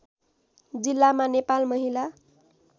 जिल्लामा नेपाल महिला